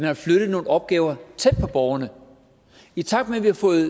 har flyttet nogle opgaver tæt på borgerne i takt med at vi har fået